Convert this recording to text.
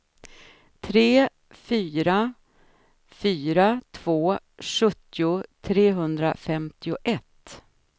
tre fyra fyra två sjuttio trehundrafemtioett